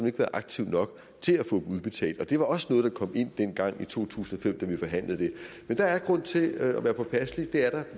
ikke været aktiv nok til at få dem udbetalt og det var også noget der kom ind dengang i to tusind og fem da vi forhandlede det men der er grund til at være påpasselig det er der